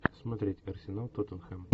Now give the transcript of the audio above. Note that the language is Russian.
смотреть арсенал тоттенхэм